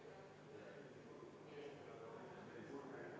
Juhtivkomisjoni seisukoht on jätta arvestamata.